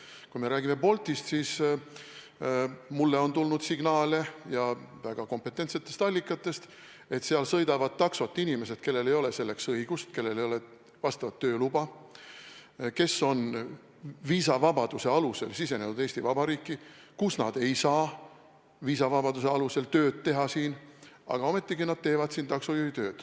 Kui me räägime Boltist, siis mulle on tulnud signaale, ja väga kompetentsetest allikatest, et seal sõidavad taksot inimesed, kellel ei ole selleks õigust, kellel ei ole selleks tööluba, kes on viisavabaduse alusel sisenenud Eesti Vabariiki, kus nad ei saaks viisavabaduse alusel tööd teha, aga ometigi nad teevad siin taksojuhitööd.